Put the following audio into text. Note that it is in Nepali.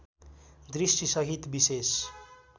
दृष्टि सहित विशेष